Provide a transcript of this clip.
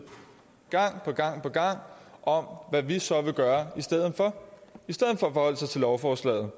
gang på gang om hvad vi så vil gøre i stedet for at forholdt sig til lovforslaget